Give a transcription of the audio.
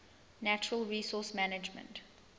natural resource management